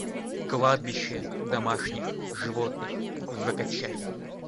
кладбище домашних животных закачай